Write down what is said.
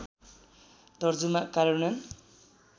तर्जुमा कार्यान्वयन